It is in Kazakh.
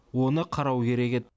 оны қарау керек еді